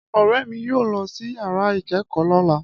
Ọ̀rẹ́ mi yóò lọ sí yàrá ìkẹ́kọ̀ọ́ lọ́la